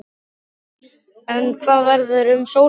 En hvað verður um Sólheima?